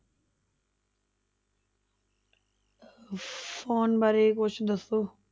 Phone ਬਾਰੇ ਕੁਛ ਦੱਸੋ।